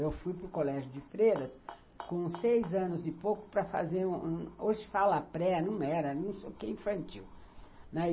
Eu fui para o colégio de Freiras com seis anos e pouco para fazer... Hoje fala pré, não era, não sei o que, infantil, né.